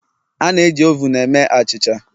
A na-eji ovun eme achịcha